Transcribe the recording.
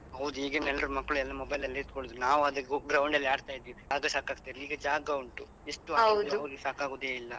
ಹೌದು ಈಗಿನ ಎಲ್ರು ಮಕ್ಳು ಎಲ್ಲ mobile ಅಲ್ಲೇ ಕುಳ್ತ್ಕೊಳ್ಳುದು ನಾವಾದ್ರೆ ground ಅಲ್ಲಿ ಆಡ್ತಾ ಇದ್ವಿ ಜಾಗ ಸಾಕತಿರ್ಲಿಲ್ಲ ಈಗ ಜಾಗ ಉಂಟು ಆಡಿದ್ರೂ ನಮಗೆ ಸಾಕಗುದೇ ಇಲ್ಲ.